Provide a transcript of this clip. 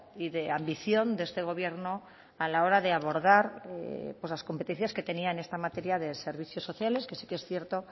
y de ambición de este gobierno a la hora de abordar las competencias que tenía en esta materia de servicios sociales que sí que es cierto